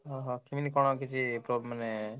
ଓହୋ, କେମିତି କଣ କିଛି ପ୍ରୋ~ ମାନେ,